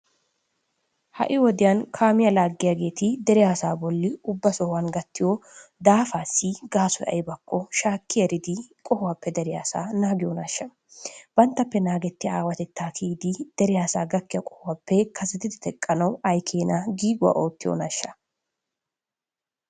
Ha"i wodiyan kaamiya laaggiyageeti dere asaa bolli ubba sohuwan gattiyo daafaassi gaasoy aybakko shaakki eridi qohuwappe dere asaa naagiyonaashsha? Banttappe naagettiya aawatettaa kiyidi dere asaa gakkiya qohuwappe kasetidi teqqanawu ay keena giiguwa oottiiyonaashsha?